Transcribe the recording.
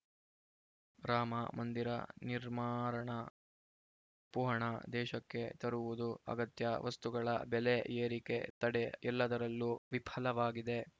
ರಾಮ ಮಂದಿರ ನಿರ್ಮಾರಣ ಕಪ್ಪುಹಣ ದೇಶಕ್ಕೆ ತರುವುದು ಅಗತ್ಯ ವಸ್ತುಗಳ ಬೆಲೆ ಏರಿಕೆ ತಡೆ ಎಲ್ಲದರಲ್ಲೂ ವಿಫಲವಾಗಿದೆ